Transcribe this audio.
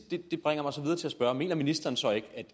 bringer mig så videre til at spørge mener ministeren så ikke